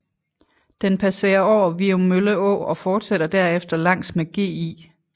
Den passere over Viummølle Å og forsætter derefter langs med Gl